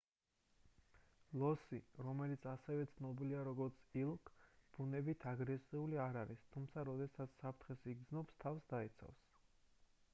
ლოსი რომელიც ასევე ცნობილია როგორც elk ბუნებით აგრესიული არ არის თუმცა როდესაც საფრთხეს იგრძნობს თავს დაიცავს